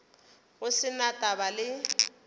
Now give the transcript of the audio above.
go se na taba le